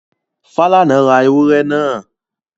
Falana ra ewúrẹ́ náà?